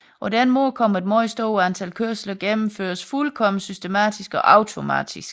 På den måde kan et meget stort antal kørsler gennemføres fuldkommen systematisk og automatisk